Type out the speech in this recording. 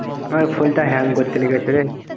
phone টা hang করতে লেগেছে রে।